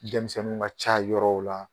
Denmisɛniw ka ca yɔrɔ la